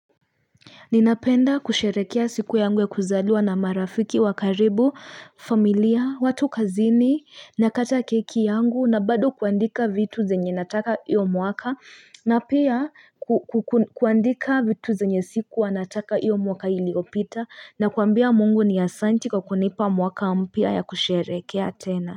Ninapenda kusherehekea siku yangu ya kuzaliwa na marafiki wa karibu familia watu kazini na kata keki yangu na bado kuandika vitu zenye nataka iyo mwaka na pia kuandika vitu zenye sikuwa nataka iyo mwaka iliopita na kuambia Mungu ni asante kwa kunipa mwaka mpya ya kusherehekea tena.